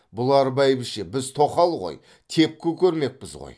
бұлар бәйбіше біз тоқал ғой тепкі көрмекпіз ғой